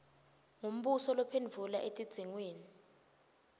ngumbuso lophendvula etidzingweni